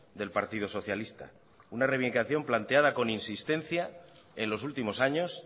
del partido socialista una reivindicación planteada con insistencia en los últimos años